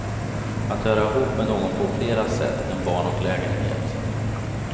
Att höra ihop med någon på fler sätt än barn och lägenhet.